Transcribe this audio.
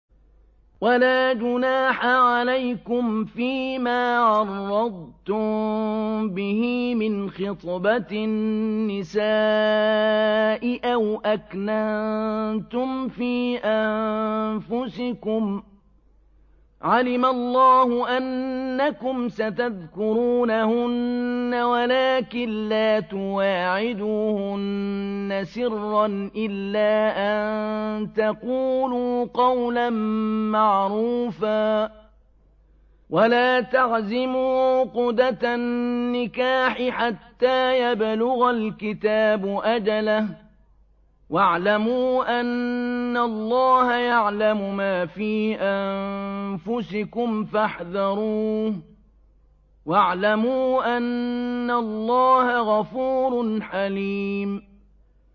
وَلَا جُنَاحَ عَلَيْكُمْ فِيمَا عَرَّضْتُم بِهِ مِنْ خِطْبَةِ النِّسَاءِ أَوْ أَكْنَنتُمْ فِي أَنفُسِكُمْ ۚ عَلِمَ اللَّهُ أَنَّكُمْ سَتَذْكُرُونَهُنَّ وَلَٰكِن لَّا تُوَاعِدُوهُنَّ سِرًّا إِلَّا أَن تَقُولُوا قَوْلًا مَّعْرُوفًا ۚ وَلَا تَعْزِمُوا عُقْدَةَ النِّكَاحِ حَتَّىٰ يَبْلُغَ الْكِتَابُ أَجَلَهُ ۚ وَاعْلَمُوا أَنَّ اللَّهَ يَعْلَمُ مَا فِي أَنفُسِكُمْ فَاحْذَرُوهُ ۚ وَاعْلَمُوا أَنَّ اللَّهَ غَفُورٌ حَلِيمٌ